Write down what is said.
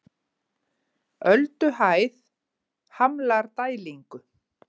Ölduhæð hamlar dælingu